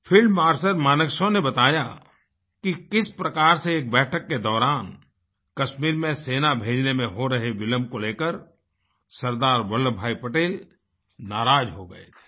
field marshal Manekshawने बताया कि किस प्रकार से एक बैठक के दौरान कश्मीर में सेना भेजने में हो रहे विलम्ब को लेकर सरदार वल्लभभाई पटेल नाराज हो गए थे